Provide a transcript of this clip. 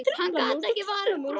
Hann gat ekki varist brosi.